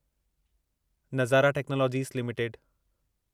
Nazara technologies limited